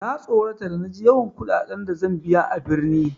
Na tsorata da na ji yawan kuɗaɗen da zan biya a birni.